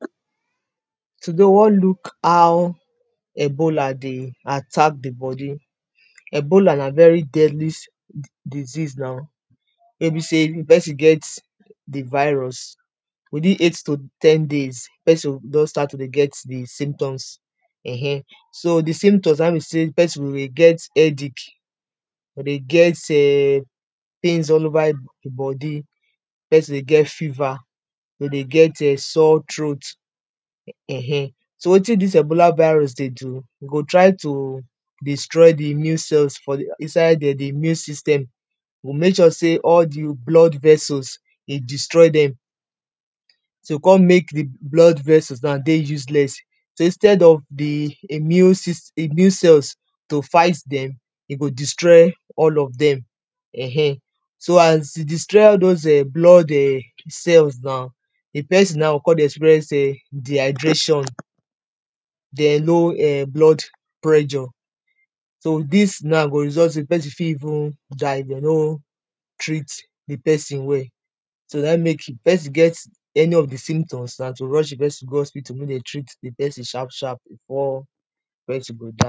Today we wan look how ebola dey attack di body, ebola na very deadly disease na wey be sey if pesin get di virus within eight to ten days di pesin go don start to dey get di symptoms [urn], so di symptoms na be sey di pesin go dey get headache, dey get [urn] pains all over im body, di pesin dey get fever, go dey get [urn] sore throat [urn] so wetin dis ebola virus dey do go try to destroy di immune cells for di inside dem di immune system e go make sure sey all di blood vessels e destroy dem so kon make di blood vessels now dey useless, so instead of di immune cells to fight dem e go destroy all of dem [urn] so as e destroy dose blood cells now di pesin now go kon dey experience dehydration, den low blood pressure, so dis now go result to di pesin fit even die if dem no treat di pesin well so naim make if pesin get any of di symptoms na to rush di pesin go hospital make dem treat di pesin sharp sharp before di pesin go die.